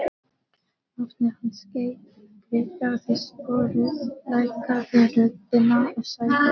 Nafni hans greikkaði sporið, lækkaði röddina og sagði